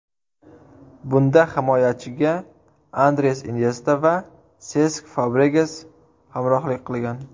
Bunda himoyachiga Andres Inyesta va Sesk Fabregas hamrohlik qilgan.